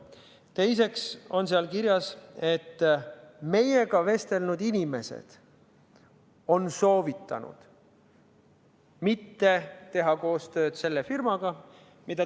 Teiseks on seal kirjas, et meiega vestelnud inimesed on soovitanud mitte teha koostööd selle firmaga.